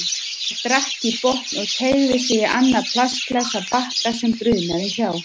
Hann drakk í botn og teygði sig í annað plastglas af bakka sem brunaði hjá.